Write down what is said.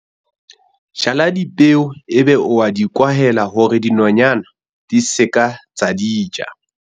jala dipeo ebe o a di kwahela hore dinonyana di se ke tsa di ja